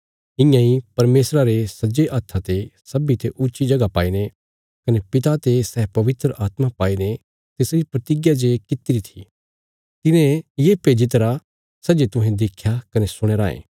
इयां इ परमेशरा रे सज्जे हत्था ते सब्बींते ऊच्ची जगह पाईने कने पिता ते सै पवित्र आत्मा पाईने तिसरी प्रतिज्ञा जे कित्तिरी थी तिने ये भेज्जी दित्तिरा सै जे तुहें देख्या कने सुणया रायें